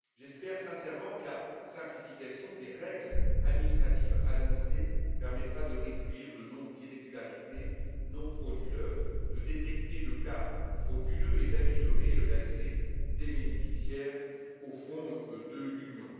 J'espère sincèrement que la simplification des règles administratives annoncée permettra de réduire le nombre d'irrégularités non frauduleuses, de détecter les cas frauduleux et d'améliorer l'accès des bénéficiaires aux fonds de l'Union.